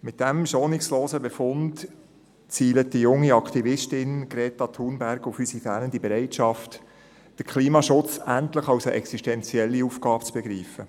Mit diesem schonungslosen Befund zielt die junge Aktivistin Greta Thunberg auf unsere fehlende Bereitschaft, den Klimaschutz endlich als eine existentielle Aufgabe zu begreifen.